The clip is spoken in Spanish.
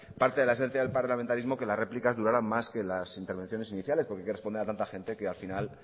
parte de la esencia del parlamentarismo que las réplicas duraran más que las intervenciones iniciales porque hay que responder a tanta gente que al final